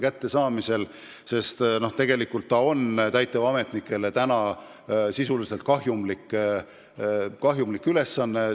Praegu on sisuliselt tegu täitevametnikele kahjumliku ülesandega.